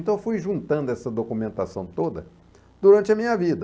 Então eu fui juntando essa documentação toda durante a minha vida.